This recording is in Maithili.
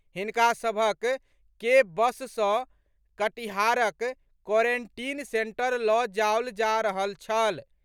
हिनका सभक के बस सँ कटिहारक क्वारेंटीन सेंटर लऽ जाओल जा रहल छल।